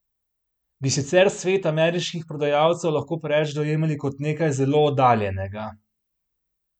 Bi sicer svet ameriških prodajalcev lahko preveč dojemali kot nekaj zelo oddaljenega?